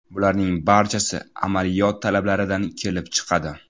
Bularning barchasi amaliyot talablaridan kelib chiqadi.